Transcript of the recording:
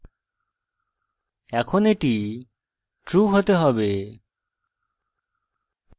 এখন এটি true হতে হবে